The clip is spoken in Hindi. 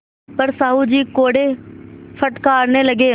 पर साहु जी कोड़े फटकारने लगे